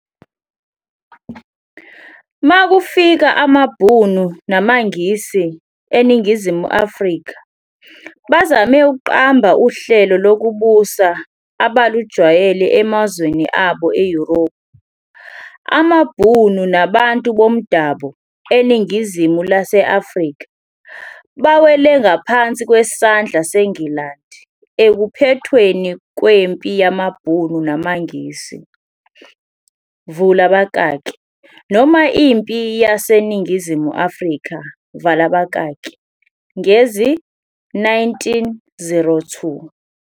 Makufika amaBhunu namaNgisi eNingizimu Afrika, bazame ukuqamba uhlelo lokubusa ebalujwayele emazweni abo eYuropu. Amabhunu nabantu bomdabo eningizimu lase-Afrika bawele ngaphansi kwesandla seNgilandi ekuphethweni kweMpi yamaBhunu namaNgisi vula abakaki noma iMpi yaseNingizimu Afrika vala abakaki ngezi-1902.